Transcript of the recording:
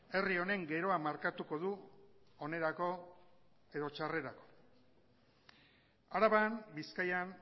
herri honen geroa markatuko du onerako edo txarrerako araban bizkaian